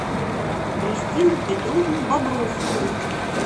кристину петровну бобровскую